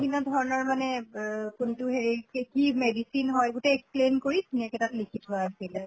ভিন্ন ধৰণৰ মানে এহ কোনটো হেৰিত কে কি medicine হয় গোটেই explain কৰি ধুনীয়াকে তাত লিখি থোৱা আছেলে।